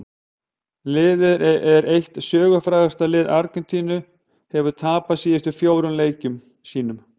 Liðið sem er eitt sögufrægasta lið Argentínu hefur tapað síðustu fjórum leikjum sínum.